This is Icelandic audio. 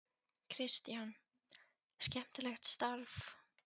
Kristján: Skemmtilegt starf?